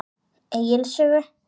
Egils sögu.